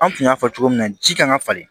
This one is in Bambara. An tun y'a fɔ cogo min na ji kan ka falen